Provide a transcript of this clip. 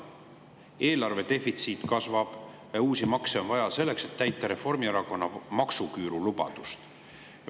Eelarve defitsiit kasvab ja uusi makse on vaja selleks, et täita Reformierakonna maksuküürulubadust.